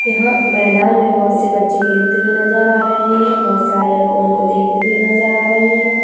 यहाँ मैदान में बहुत से बच्चे खेलते हुए नज़र आ रहे है बहुत सारे लोग उनको देखते हुए नज़र आ रहे है।